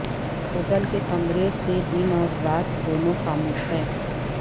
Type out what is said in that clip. hotel کے کمرے سے دن اور رات دونوں خاموش ہیں